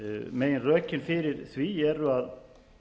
meginrökin fyrir því eru að